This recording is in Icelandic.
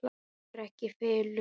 Það fór ekki í felur.